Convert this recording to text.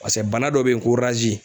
Paseke bana dɔ be yen ko